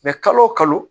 Mɛ kalo o kalo